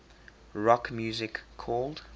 rock music called